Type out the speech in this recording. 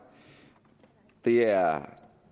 det er